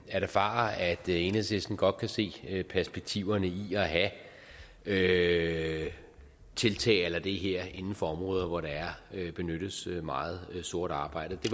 erfare at enhedslisten godt kan se perspektiverne i at have tiltag a la det her inden for områder hvor der benyttes meget sort arbejde det